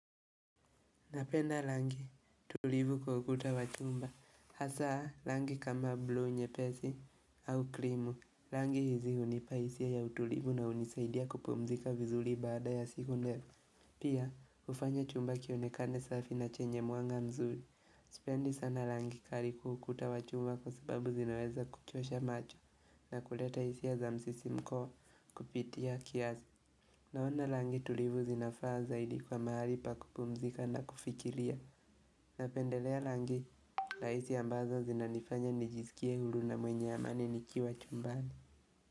Napenda rangi tulivu kwa ukuta wa chumba. Hasa rangi kama blu nyepesi au krimu. Rangi hizi hunipa hisia ya utulivu na hunisaidia kupumzika vizuri baada ya siku ndefu. Pia hufanya chumba kionekane safi na chenye mwanga mzuri. Sipendi sana rangi kali kwa ukuta wa chumba kwa sababu zinaweza kuchosha macho na kuleta hisia za msisimko kupitia kiasi. Naona rangi tulivu zinafaa zaidi kwa mahali pa kupumzika na kufikiria. Napendelea rangi, rahisi ambazo zinanifanya nijiskie huru na mwenye amani nikiwa chumbani.